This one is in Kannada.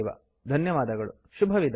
ಧನ್ಯವಾದಗಳು ಶುಭವಿದಾಯ